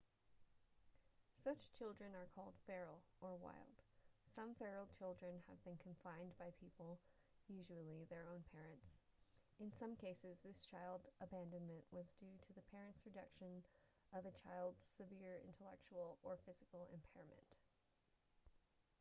such children are called feral or wild. some feral children have been confined by people usually their own parents; in some cases this child abandonment was due to the parents' rejection of a child's severe intellectual or physical impairment